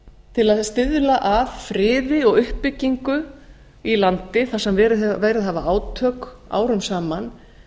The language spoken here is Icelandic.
til að stuðla að friði og uppbyggingu á landi þar sem verið hafa átök árum saman